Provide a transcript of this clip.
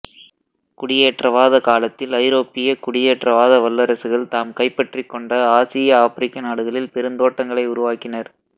குடியேற்றவாதக் காலத்தில் ஐரோப்பியக் குடியேற்றவாத வல்லரசுகள் தாம் கைப்பற்றிக்கொண்ட ஆசிய ஆப்பிரிக்க நாடுகளில் பெருந்தோட்டங்களை உருவாக்கினர்